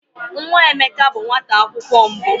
Nwa Emeka bụ nwata akwụkwọ mbụ.